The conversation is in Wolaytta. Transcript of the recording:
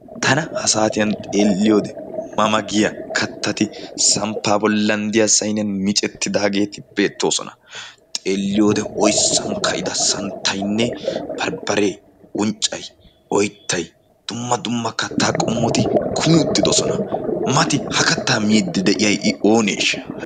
Tana ha saatiyan xeelliyode ma ma giya kattati samppaa bollan de"iya sayniyan micettidaageeti beettoosona. Xeelliyode oyssan ka"ida santtaynne barbbaree, unccayi, oyttayi dumma dumma kattaa qommoti kumi uttidosona. Mati ha kattaa miiddi de"iyayi i ooneeshsha?